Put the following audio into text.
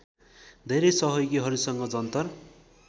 धेरै सहयोगीहरूसँग जन्तर